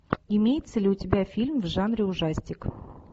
имеется ли у тебя фильм в жанре ужастик